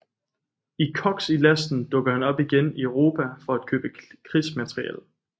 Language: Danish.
I Koks i lasten dukker han op igen i Europa for at købe krigsmateriel